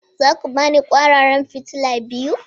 Za ku ba ni kwararan fitila biyu!